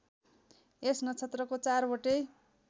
यस नक्षत्रको चारवटै